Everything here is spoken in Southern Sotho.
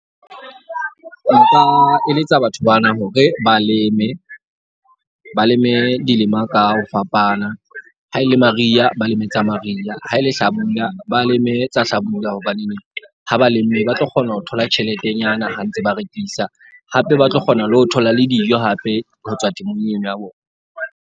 Nka eletsa batho bana hore ba leme ba leme dilema ka ho fapana. Ha e le mariha ba leme tsa mariha. Ha e le hlabula ba leme tsa hlabula. Hobaneneng ha ba lemme ba tlo kgona ho thola tjheletenyana ha ntse ba rekisa. Hape ba tlo kgona le ho thola le dijo hape ho tswa temong eno ya bona.